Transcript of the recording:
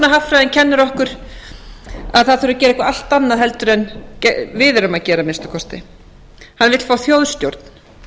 og framsóknarhagfræðin kennir okkur að það þurfi að gera eitthvað allt annað heldur en við erum að gera að minnsta kosti hann vill fá þjóðstjórn